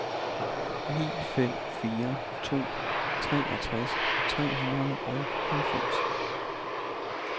ni fem fire to treogtres tre hundrede og halvfems